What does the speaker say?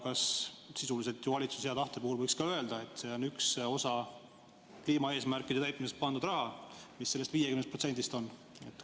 Kas sisuliselt valitsuse hea tahte puhul võiks ka öelda, et see on üks osa kliimaeesmärkide täitmiseks pandud raha, mis sellest 50%-st on?